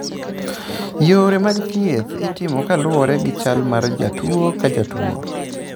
Yore mag thieth itimo kaluwore gi chal mar jatuwo ka jatuwo.